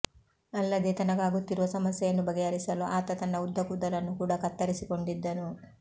ಅಲ್ಲದೇ ತನಗಾಗುತ್ತಿರುವ ಸಮಸ್ಯೆಯನ್ನು ಬಗೆಹರಿಸಲು ಆತ ತನ್ನ ಉದ್ದ ಕೂದಲನ್ನು ಕೂಡ ಕತ್ತರಿಸಿಕೊಂಡಿದ್ದನು